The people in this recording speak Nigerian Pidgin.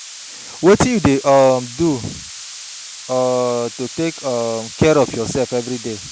Wetin you dey um do um to take um care of your self everyday?